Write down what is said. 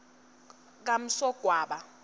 kamsogwaba